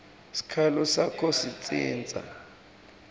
sikhalo sakho sitsintsa